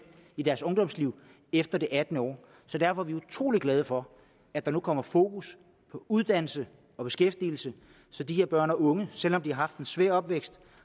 i deres ungdomsliv efter det attende år så derfor er vi utrolig glade for at der nu kommer fokus på uddannelse og beskæftigelse så de her børn og unge selv om de har haft en svær opvækst